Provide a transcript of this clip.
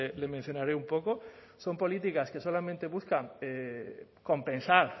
le mencionaré un poco son políticas que solamente buscan compensar